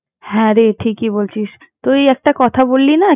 হ্যাঁ, রে ঠিকই বলছিস তুই একটা কথা বললি না।